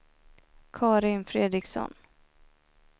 Karin Fredriksson